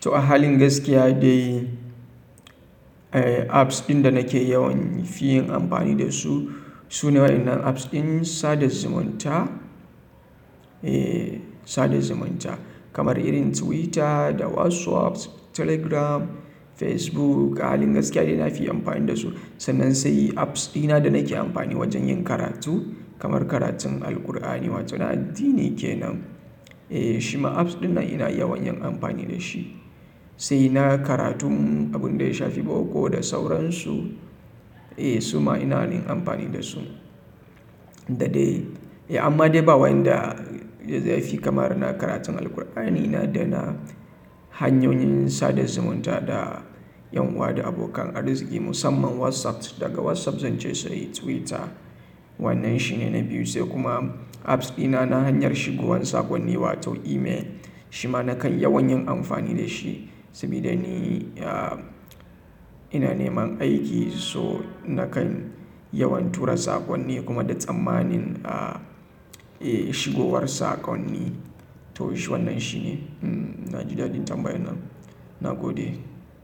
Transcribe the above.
To a halin gaskiya dai, apps ɗin da nake yawan fi yin amfani da su, su ne waɗannan apps ɗin sada zumunta. Sada zumunta kamar irin Twitter da WhatsApp, Telegram, Facebook a halin gaskiya dai na fi amfani da su. Sannan sai apps ɗina da nake amfani wajen yin karatu, kamar karatun Alqur'ani wato na addini kenan. Shima apps ɗin nan ina yawan yin amfani da shi. Sai na karatun abin da ya shafi boko da sauransu. Eh su ma ina yin amfani da su. Da dai, amma dai ba wanda zaifi kama da na karatun Alqur'ani na da na hanyoyin sada zumunta da en uwa da abokan arziki musamman WhatsApp daga WhatsApp zanje sai Twitter. Wannan shine na biyu sai kuma apps dina na hanyar shigowan saƙonni wato email. Shima nakan yawan yin amfani da shi, sabida ni ina neman aiki so nakan yawan tura saƙonni kuma da tsammanin, shigowar saƙonni. To shi wannan shine. Na ji dadi tambayan nan. Na gode.